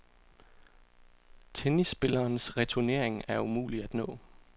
Tennisspillerens returnering er umulig at nå.